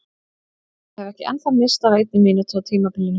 Ég hef ekki ennþá misst af einni mínútu á tímabilinu!